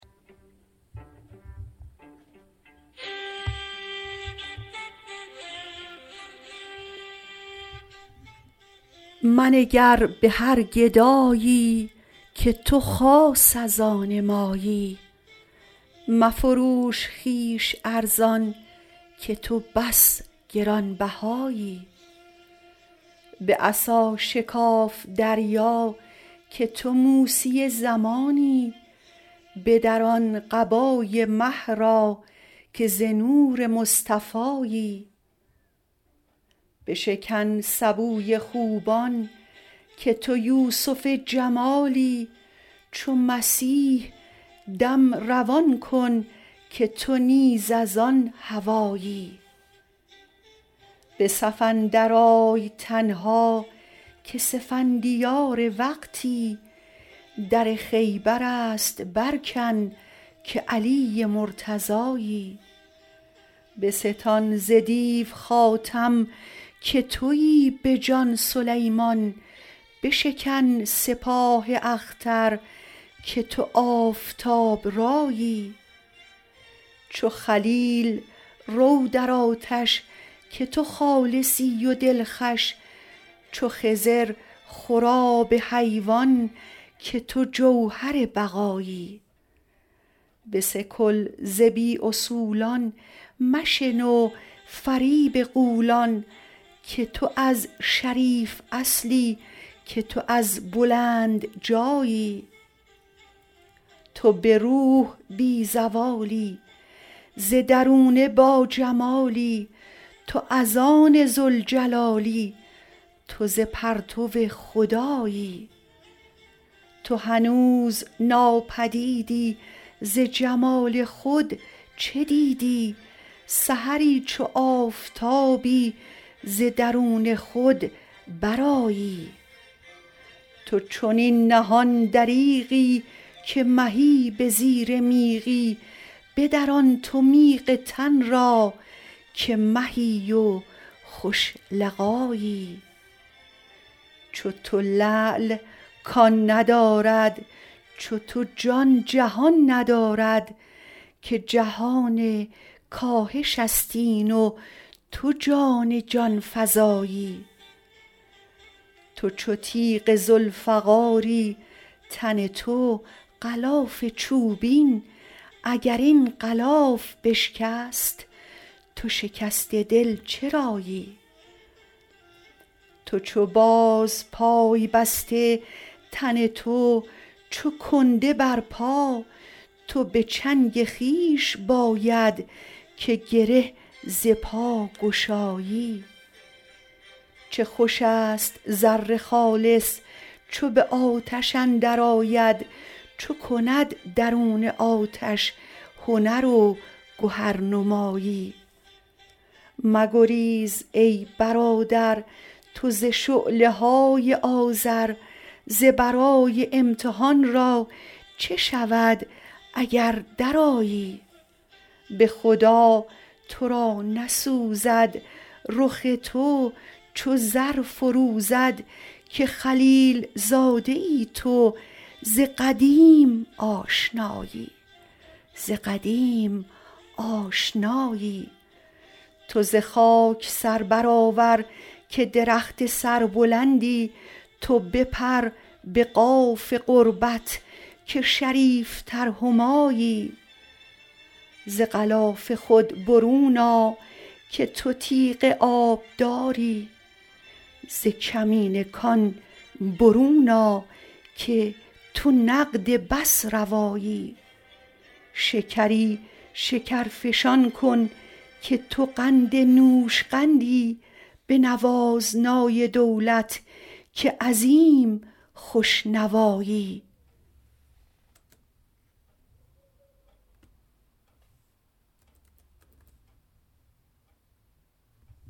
منگر به هر گدایی که تو خاص از آن مایی مفروش خویش ارزان که تو بس گران بهایی به عصا شکاف دریا که تو موسی زمانی بدران قبای مه را که ز نور مصطفایی بشکن سبوی خوبان که تو یوسف جمالی چو مسیح دم روان کن که تو نیز از آن هوایی به صف اندرآی تنها که سفندیار وقتی در خیبر است برکن که علی مرتضایی بستان ز دیو خاتم که توی به جان سلیمان بشکن سپاه اختر که تو آفتاب رایی چو خلیل رو در آتش که تو خالصی و دلخوش چو خضر خور آب حیوان که تو جوهر بقایی بسکل ز بی اصولان مشنو فریب غولان که تو از شریف اصلی که تو از بلند جایی تو به روح بی زوالی ز درونه باجمالی تو از آن ذوالجلالی تو ز پرتو خدایی تو هنوز ناپدیدی ز جمال خود چه دیدی سحری چو آفتابی ز درون خود برآیی تو چنین نهان دریغی که مهی به زیر میغی بدران تو میغ تن را که مهی و خوش لقایی چو تو لعل کان ندارد چو تو جان جهان ندارد که جهان کاهش است این و تو جان جان فزایی تو چو تیغ ذوالفقاری تن تو غلاف چوبین اگر این غلاف بشکست تو شکسته دل چرایی تو چو باز پای بسته تن تو چو کنده بر پا تو به چنگ خویش باید که گره ز پا گشایی چه خوش است زر خالص چو به آتش اندرآید چو کند درون آتش هنر و گهرنمایی مگریز ای برادر تو ز شعله های آذر ز برای امتحان را چه شود اگر درآیی به خدا تو را نسوزد رخ تو چو زر فروزد که خلیل زاده ای تو ز قدیم آشنایی تو ز خاک سر برآور که درخت سربلندی تو بپر به قاف قربت که شریفتر همایی ز غلاف خود برون آ که تو تیغ آبداری ز کمین کان برون آ که تو نقد بس روایی شکری شکرفشان کن که تو قند نوشقندی بنواز نای دولت که عظیم خوش نوایی